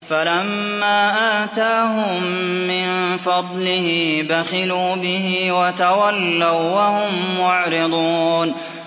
فَلَمَّا آتَاهُم مِّن فَضْلِهِ بَخِلُوا بِهِ وَتَوَلَّوا وَّهُم مُّعْرِضُونَ